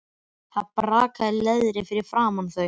Það brakaði í leðri fyrir framan þau.